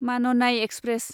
माननाय एक्सप्रेस